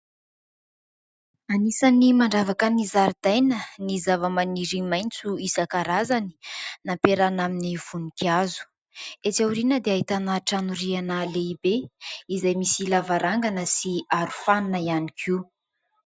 Anisany mandravaka ny zaridaina ny zavamaniry maitso isan-karazany nampiarahana amin'ny voninkazo, etsy aoriana dia ahitana trano rihana lehibe izay misy lavarangana sy arofanina ihany koa.